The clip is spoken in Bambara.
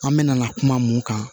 An mɛna kuma mun kan